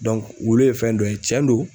wulu ye fɛn dɔ ye cɛn do